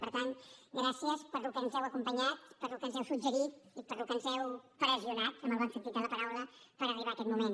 per tant gràcies pel que ens heu acompanyat pel que ens heu suggerit i pel que ens heu pressionat en el bon sentit de la paraula per arribar a aquest moment